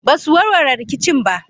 ba su warware rikicin ba.